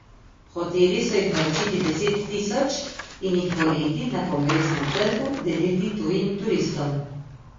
Hoteli so jih naročiti deset tisoč in jih poleti na Kongresnem trgu deliti tujim turistom.